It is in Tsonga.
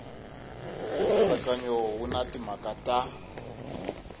nkatsakanyo wu na timhaka ta